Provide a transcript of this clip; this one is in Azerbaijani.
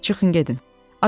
Yaxşı, çıxın gedin.